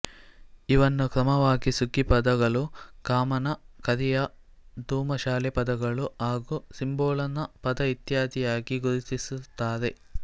ಇವನ್ನು ಕ್ರಮವಾಗಿ ಸುಗ್ಗಿಪದಗಳು ಕಾಮನ ಕರಿಯ ದುಮಸಾಲೆ ಪದಗಳು ಹಾಗೂ ಸಿಂಬೋಳನ ಪದಇತ್ಯಾದಿಯಾಗಿ ಗುರುತಿಸುತ್ತಾರೆ